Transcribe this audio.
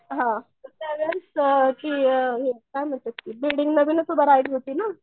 हं तर ती अ काय म्हणतात ते बिल्डिंग नवीनच उभा राहिली होती ना.